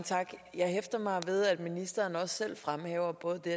jeg hæfter mig ved at ministeren også selv fremhæver både det